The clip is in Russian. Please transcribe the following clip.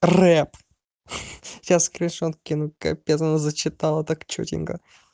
рэп сейчас скриншот скину капец она зачитала так чётенька